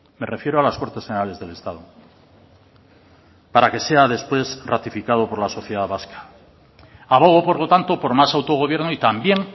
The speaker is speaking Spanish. me refiero a las cortes generales del estado para que sea después ratificado por la sociedad vasca abogo por lo tanto por más autogobierno y también